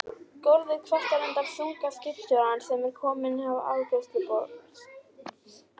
Gólfið kvartar undan þunga skipstjórans sem er kominn að afgreiðsluborð